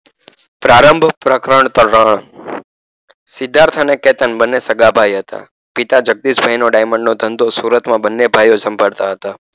પ્રારભ પ્રકરણ ત્રણ સિધાર્થ અને કેતન બને સગાભાઈ હતા પિતા જગદીશ ભાઇનો diamond નો ધંધો સુરતમા બને ભાઈઓ સંભાળતા હતા